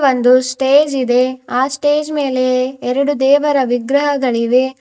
ಒಂದು ಸ್ಟೇಜ್ ಇದೆ ಆ ಸ್ಟೇಜ್ ಮೇಲೆ ಎರಡು ದೇವರ ವಿಗ್ರಹಗಳಿವೆ.